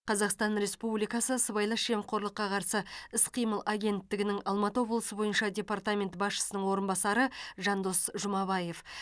қазақстан республикасы сыбайлас жемқорлыққа қарсы іс қимыл агенттігінің алматы облысы бойынша департаменті басшысының орынбасары жандос жұмабаев